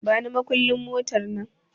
Bani makullin motar nan